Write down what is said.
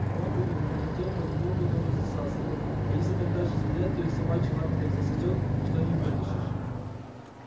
а лапы её между тем понемногу тоже засасывало если так дальше стоять то и собачьи лапы так засосёт что и не вытащишь